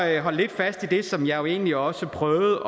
jeg holde lidt fast i det som jeg egentlig også prøvede